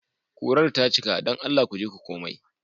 Kurar ta cika. don Allah ku je ku komai.